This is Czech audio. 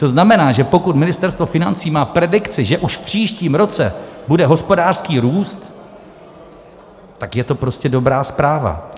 To znamená, že pokud Ministerstvo financí má predikci, že už v příštím roce bude hospodářský růst, tak je to prostě dobrá zpráva.